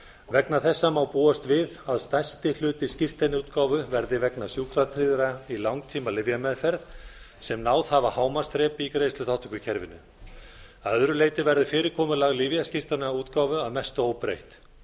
vegna þessa má búast við að stærsti hluti skírteinaútgáfu verði vegna sjúkratryggðra í langtímalyfjameðferð sem náð hafa hámarksþrepi í greiðsluþátttökukerfinu að öðru leyti verði fyrirkomulag lyfjaskírteinaútgáfu að mestu óbreytt